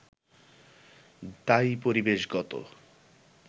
দায়ী পরিবেশগত